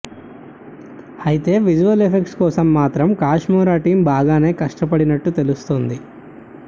అయితే visual effects కోసం మాత్రం కాష్మోరా టీమ్ బాగానే కష్టపడినట్టు తెలుస్తోంది